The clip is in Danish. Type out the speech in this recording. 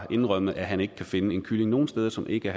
indrømmet at han ikke kunne finde en kylling nogen steder som ikke